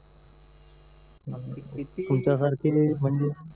किती